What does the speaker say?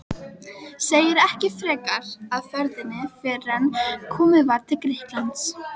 Segir ekki frekar af ferðinni fyrren komið var til Grikklands.